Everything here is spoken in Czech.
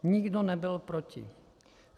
Nikdo nebyl proti.